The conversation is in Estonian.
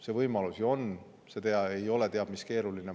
See võimalus ju on, see ei ole teab mis keeruline.